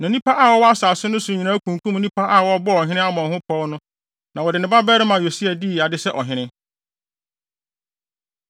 Na nnipa a wɔwɔ asase no so nyinaa kunkum nnipa a wɔbɔɔ ɔhene Amon ho pɔw no, na wɔde ne babarima Yosia dii ade sɛ ɔhene.